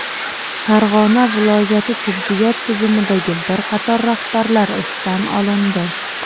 Farg‘ona viloyati tibbiyot tizimidagi bir qator rahbarlar ishdan olindi.